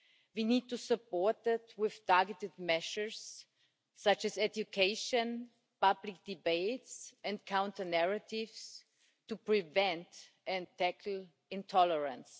We need to support it with targeted measures such as education, public debate and counter-narratives to prevent and tackle intolerance.